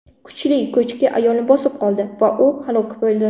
Kuchli ko‘chki ayolni bosib qoldi va u halok bo‘ldi.